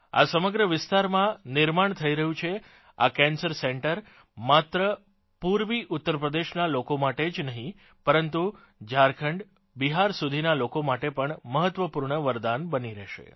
આ સમગ્ર વિસ્તારમાં નિર્માણ થઇ રહ્યું છે આ કેન્સર સેન્ટર માત્ર પૂર્વી ઉતરપ્રદેશનાં લોકો માટે જ નહીં પરંતુ ઝારખંડબિહાર સુધીનાં લોકો માટે પણ મહત્વપૂર્ણ વરદાન બની રહેશે